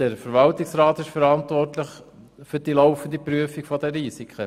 Der Verwaltungsrat ist verantwortlich für die laufende Prüfung der Risiken.